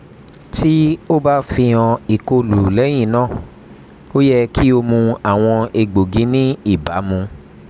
ti o ba fihan ikolu lẹyinna o yẹ ki o mu awọn egboogi ni ibamu